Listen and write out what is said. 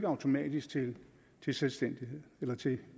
automatisk til til selvstændighed eller til